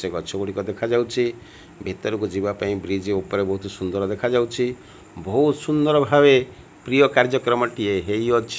ସେ ଗଛ ଗୁଡ଼ିକ ଦେଖାଯାଉଛି। ଭିତରକୁ ଯିବା ପାଇଁ ବ୍ରିଜ ଉପରେ ବୋହୁତ୍ ସୁନ୍ଦର ଦେଖାଯାଉଛି। ବୋହୁତ୍ ସୁନ୍ଦର ଭାବେ ପ୍ରିୟ କାର୍ଯ୍ୟକ୍ରମ ଟିଏ ହେଇଅଛି।